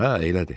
Hə, elədi.